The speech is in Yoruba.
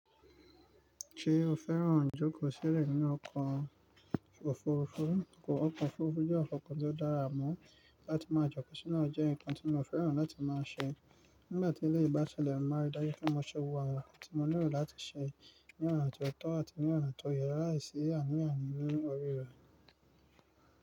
Ṣé o fẹ́ràn jókòó sílẹ̀ nínú ọkọ̀ òfurufú? Ọkọ̀ òfurufú jẹ́ ọkọ̀ tó dára mọ́ láti máa jókòó sínáa jẹ́ nǹkan tí mo fẹ́ràn láti máa ṣe nígbà tí ilé ìgbà ṣẹlẹ̀ máa ń dájú pé mo ṣe wò wa tí mo nílò láti ṣe ní ọ̀nà tó tọ́ àti ní ọ̀nà tó yẹ láìsí àní àní ní orí rẹ̀.